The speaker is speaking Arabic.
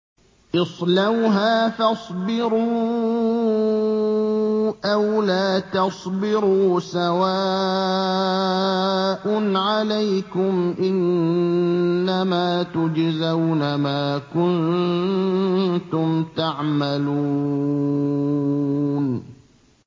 اصْلَوْهَا فَاصْبِرُوا أَوْ لَا تَصْبِرُوا سَوَاءٌ عَلَيْكُمْ ۖ إِنَّمَا تُجْزَوْنَ مَا كُنتُمْ تَعْمَلُونَ